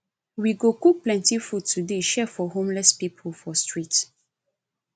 we go cook plenty food today share for homeless pipu for street